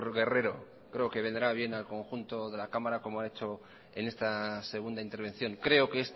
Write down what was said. guerrero creo que vendrá bien al conjunto de la cámara como ha hecho en esta segunda intervención creo que